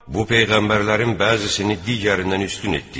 Bu peyğəmbərlərin bəzisini digərindən üstün etdik.